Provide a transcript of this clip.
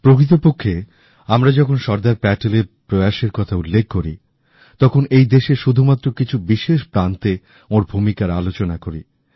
প্রকৃতপক্ষে আমরা যখন সর্দার প্যাটেলের প্রয়াসের উল্লেখ করি তখন এই দেশের শুধুমাত্র কিছু বিশেষ প্রান্তে ওঁর ভূমিকার আলোচনা করি